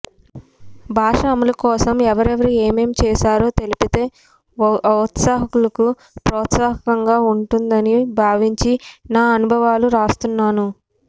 భాష అమలు కోసం ఎవరెవరు ఏమేం చేశారో తెలిపితే ఔత్సాహికులకు ప్రోత్సాహకంగా ఉంటుందని భావించి నా అనుభవాలు రాస్తున్నాను